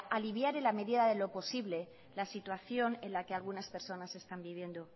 aliviar en la medida de lo posible la situación en la que algunas personas están viviendo